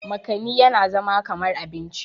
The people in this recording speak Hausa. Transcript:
makani yana zama kamar abinci